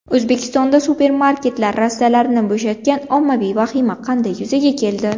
O‘zbekistonda supermarketlar rastalarini bo‘shatgan ommaviy vahima qanday yuzaga keldi?